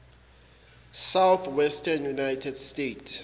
southwestern united states